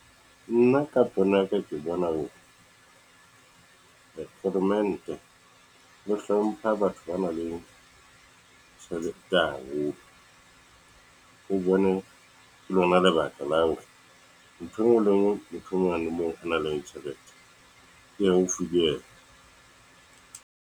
Nna ka pono ya ka ke bona hore, foromane ee o hlompha batho ba nang le tjhelete haholo, o bonwe ke lona lebaka la hore, ntho engwe le ngwe moo ho nang le tjhelete e haufi le yena.